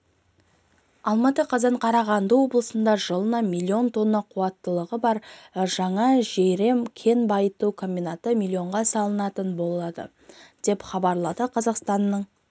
алматы қазан қарағанды облысында жылына миллион тонна қуаттылығы бар жаңа жайрем кен байыту комбинаты миллионға салынатын болады деп хабарлады қазақстанның